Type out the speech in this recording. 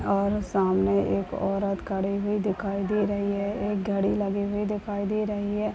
और सामने एक औरत खड़ी हुई दिखाई दे रही है एक घड़ी लगी हुई दिखाई दे रही है।